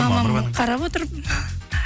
мамам қарап отыр